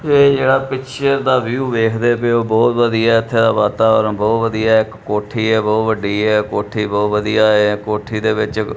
ਇਹ ਜਿਹੜਾ ਪਿਕਚਰ ਦਾ ਵਿਊ ਵੇਖਦੇ ਪਏ ਹੋ ਬਹੁਤ ਵਧੀਆ ਹੈ ਇੱਥੇ ਦਾ ਵਾਤਾਵਰਨ ਬਹੁਤ ਵਧੀਆ ਹੈ ਇੱਕ ਕੋਠੀ ਹੈ ਬਹੁਤ ਵੱਡੀ ਹੈ ਕੋਠੀ ਬਹੁਤ ਵਧੀਆ ਏ ਕੋਠੀ ਦੇ ਵਿੱਚ ਇਕ --